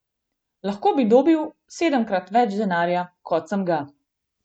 Lahko bi dobil sedemkrat več denarja, kot sem ga.